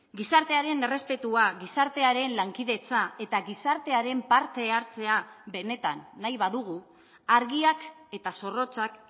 gizartearen errespetua gizartearen lankidetza eta gizartearen partehartzea benetan nahi badugu argiak eta zorrotzak